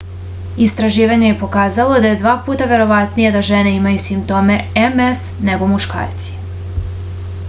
istraživanje je pokazalo da je dva puta verovatnije da žene imaju simptome ms nego muškarci